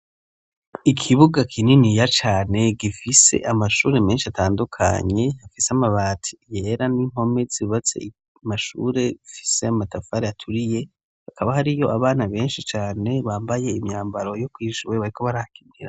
Ikibuga kininiya cane gifise amashure menshi atandukanye afise amabati yera n'impome zubatse amashure afise amatafari aturiye hakaba hariyo abana benshi cane bambaye imyambaro yo kw'ishure bariko barakina.